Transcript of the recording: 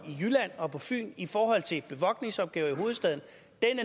jylland og på fyn i forhold til bevogtningsopgaver i hovedstaden